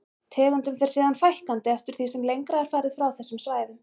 Tegundum fer síðan fækkandi eftir því sem lengra er farið frá þessum svæðum.